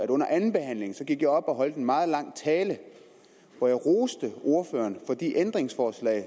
under andenbehandlingen gik op og holdt en meget lang tale hvor jeg roste ordføreren for de ændringsforslag